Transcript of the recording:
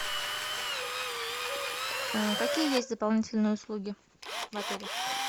какие есть дополнительные услуги в отеле